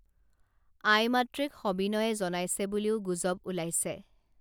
আইমাতৃক সবিনয়ে জনাইছে বুলিও গুজৱ ওলাইছে